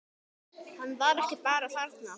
Hann var ekki bara þarna.